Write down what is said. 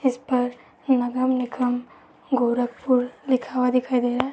इस पर नगर निगम गोरखपुर लिखा हुआ दिखाई दे रहा है।